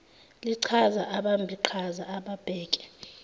lichaza abambiqhaza ababheke